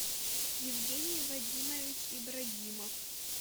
евгений вадимович ибрагимов